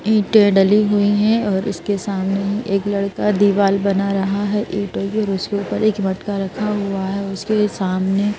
ईंटे डली हुईं हैं और इसके सामने एक लड़का दीवाल बना रहा हैं ईंटों के पर एक मटका रखा हुआ है उसके सामने--